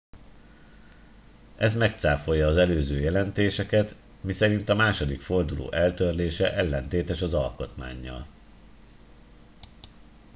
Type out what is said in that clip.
ez megcáfolja az előző jelentéseket miszerint a második forduló eltörlése ellentétes az alkotmánnyal